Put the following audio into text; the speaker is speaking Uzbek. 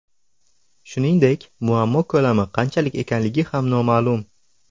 Shuningdek, muammo ko‘lami qanchalik ekanligi ham noma’lum.